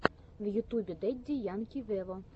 в ютубе дэдди янки вево